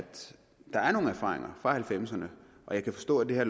der er nogle erfaringer fra nitten halvfemserne og jeg kan forstå at det her